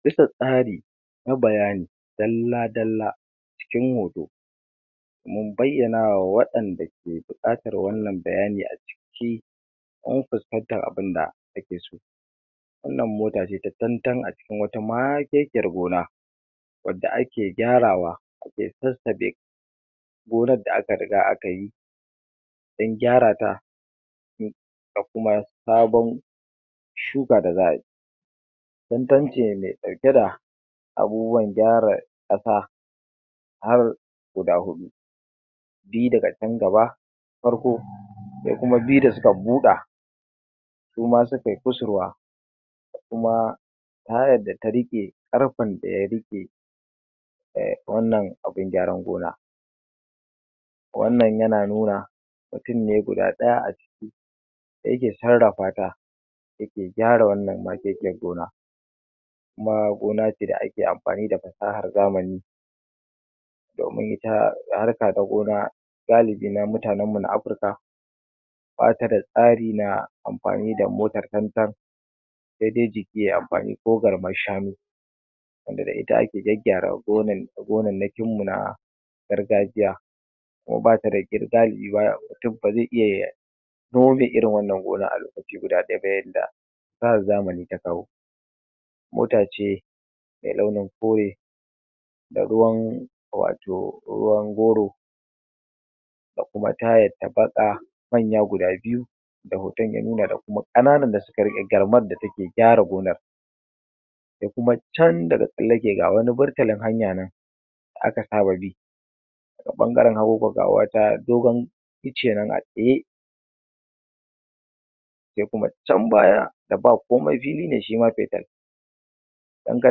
Duka tsari na bayani dalla-dalla cikin hoto mun bayyana wa waɗanda ke buƙatar wannan bayanin a jiki don fuskantar abun da ake so. wannan mota ce ta tantan a cikin wata makekiyar gona wadda ake gyarwa ake sassabe gonar da aka riga aka yi don gyarata da kuma sabon shuka da za ai tantan ce mai ɗauke da abubuwan gyara ƙasa har guda huɗu. biyu daga can gaba farko sai kuma biyu da suka buɗa. Suma sukai kusurwa. Kuma tayar da riƙe ƙarfen da ya riƙe e wannan abun gyaran gona. Wannan yana nuna mutum ne guda ɗaya a ciki yake sarrafa ta da ke gyara wannan makekeiyar gona. Kuma gona ce da ake amfani da fasahar zamani. Domin ita harka ta gona galibi na mutanenmu na Afirka ba ta da tsari na amfani da motar tantan sai dai jiki yai amfani ko garmar shanu wanda da ita ake gyaggyara gonannakinmu na gargajiya. Kuma ba ta da ƙirgali mutum ba zai iya ya Kuma mai irin wannan gonar a lokaci guda ɗaya ta yanda fasahar zamani ta kawo mota ce mai launin kore da ruwan wato ruwan goro kuma tayar ta baƙa manya guda biyu da hoton ya nuna da kuma ƙananan da suka riƙe garmar da take gyara gonar. da kuma can daga tsallake ga wani burtalin hanya nan aka saba bi A ɓangaren hagu ga wata dogon icce nan a tsaye sai kuma can baya da ba komai fili ne shi ma in ka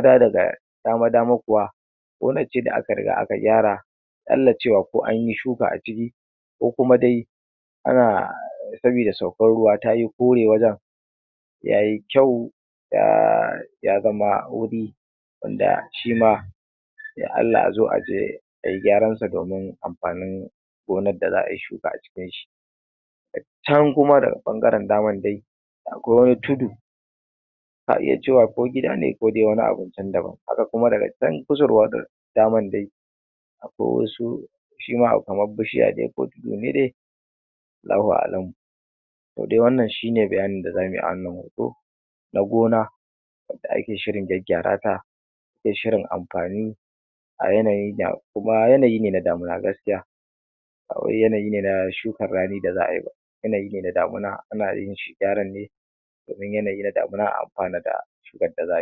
dawo daga dama-dama kuwa gonar ce da aka riga aka gyara aƙalla cewa ko an yi shuka a ciki ko kuma dai ana saboda saukar ruwa ta yi kore wajen ya yi kyau ya ya zama wanda shi ma ya Aallah a zo a yi dai a yi gyaran fsa domin amfanin gonar da za ayi shuka a cikin shi can kuma daga ɓangaren damar dai akwai wani tudu a iya cewa ko gida ne ko dai wani can daban haka kuma daga can kusurwa daman dai akwai wasu shi ma akwai kamar bishiya ko tudu Allahu a'alamu to dai wannan shi ne bayanin da za mui a na gona da ake shirin gyaggyarwa ko shirin amfani a yanayin da kuma yanayi ne na damina. ko yanayi ne na shukar rani da za ai yanayi ne na damina ana iya yin shi gyaran ne domin yanayi na damina a amfana da shukar da za ayi